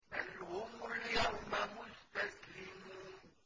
بَلْ هُمُ الْيَوْمَ مُسْتَسْلِمُونَ